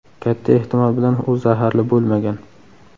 Katta ehtimol bilan u zaharli bo‘lmagan.